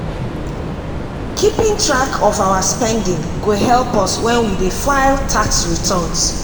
keeping track of our spending go help us when we dey file tax returns.